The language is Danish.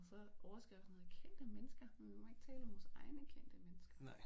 Og så overskriften hedder kendte mennesker men vi må ikke tale om vores egne kendte mennesker